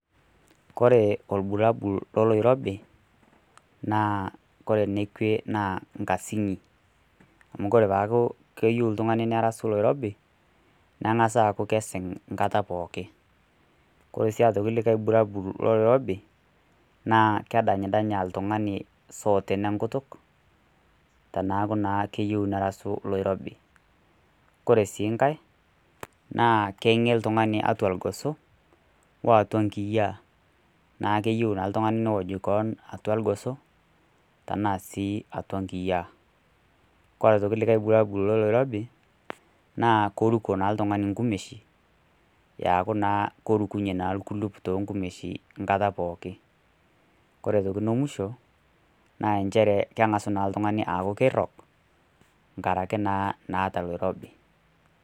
Kore olbulabul loloirobi, naa kore enekwe naa enkasing'i, amu kore peeyaku keyou oltung'ani nerasu oloirobi nengas aaku keiasing' nkata pooki. Koree sii aitoki aaku olikai bulabul loloirobi, naa kedanydanya oltung'ani isooten enkutuk, teneaku naa keyou nerasu oloirobi. Koree sii nkai, naa keng'e oltung'ani atua ilgoso, o atua inkiyaa, neaku keyou naa oltung'ani neoj keon atua ilgoso, tanaa sii atua inkiyaa. Kore sii aitoki olikai bulabul loo oloirobi naa keruko naa oltung'ani eaku naa kerukunye ake olkuluk too inkumeshin enkata pookin. Kore aitoki nemusho naa enchere keng'asu naa aaku oltung'ani aaku keirog enkaraki naa naata oloirobi.